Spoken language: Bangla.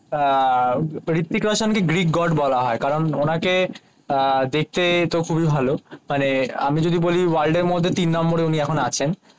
আহ হৃত্বিক রোশান কে গ্রিক গড বলা হয়ে কারণ উনাকে দেখতে তো খুবই ভালো মানে আমি যদি বলি ওয়ার্ল্ড এর মধ্যে তিন নম্বরের মধ্যে উনি আছেন